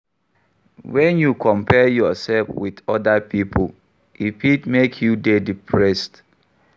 When you compare yourself with oda pipo e fit make you dey depressed